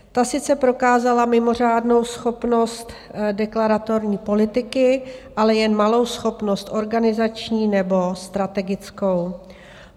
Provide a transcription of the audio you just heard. Ta sice prokázala mimořádnou schopnost deklaratorní politiky, ale jen malou schopnost organizační nebo strategickou.